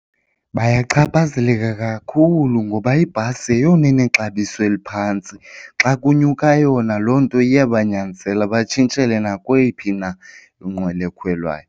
Bayachaphazeleka kakhulu ngoba ibhasi yeyona inexabiso eliphantsi. Xa kunyuka yona loo nto iya banyanzela batshintshelwe nakweyiphi na inqwelo ekhwelwayo.